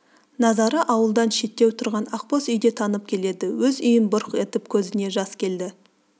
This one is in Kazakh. назары ауылдан шеттеу тұрған ақ боз үйде танып келеді өз үйін бұрқ етіп көзіне жас келді